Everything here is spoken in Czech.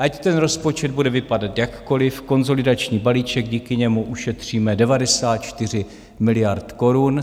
Ať ten rozpočet bude vypadat jakkoliv, konsolidační balíček, díky němu ušetříme 94 miliard korun.